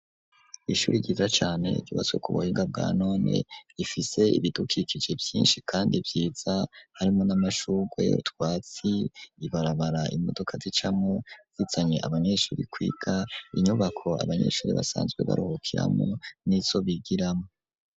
Ishuri ryiza cane ryubatswe ku buhinga bwa none ifise ibidukikije vyinshi kandi vyiza harimwo n'amashugwe utwatsi ibarabara imodoka zicamwo zizanye abanyeshuri kwiga inyubako abanyeshuri basanzwe baruhukiramwo nizo bigiramwo.